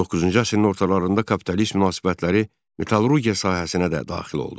19-cu əsrin ortalarında kapitalist münasibətləri metallurgiya sahəsinə də daxil oldu.